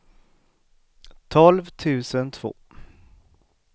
tolv tusen två